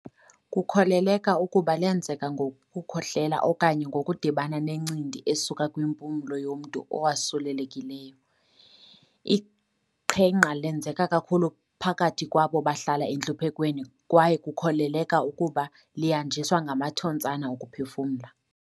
Kukholeleka ukuba lenzeka ngokukhohlela okanye ngokudibana nencindi esuka kwimpumlo yomntu owasulelekileyo. Iqhenqa lenzeka kakhulu phakathi kwabo bahlala entluphekweni kwaye kukholeleka ukuba lihanjiswa ngamathontsana okuphefumla.